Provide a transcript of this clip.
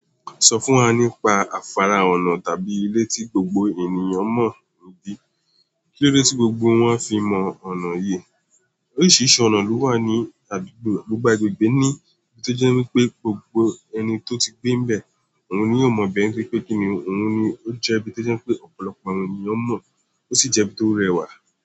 Sọ fún wa nípa afara ọ̀nà tàbí ilé tí gbogbo ènìyàn mọ̀ níbí. Kílódé tí gbogbo wọn fi mọ ọ̀nà yí? Oríṣiríṣi ọ̀nà ló wà ní àdúgbò gbogbo agbègbè ní, ibi tó jẹ́ wipé gbogbo ẹni tó ti gbé n bẹ̀ òun ni yóò mọ̀ bẹ́ẹ̀ ntorí pé kíni òun ni ó jẹ́ ibi tó jẹ́ pé ọ̀pọ̀lọpọ̀ àwọn ènìyàn mọ̀ ó sì jẹ́ ibi tó rẹwà.